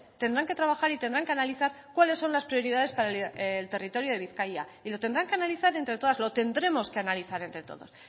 tendrán que trabajar y tendrán que analizar cuáles son las prioridades para el territorio de bizkaia y lo tendrán que analizar entre todas lo tendremos que analizar entre todos